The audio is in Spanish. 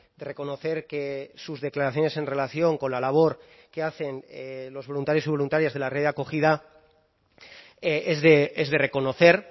de reconocer que sus declaraciones en relación con la labor que hacen los voluntarios y voluntarias de la red de acogida es de reconocer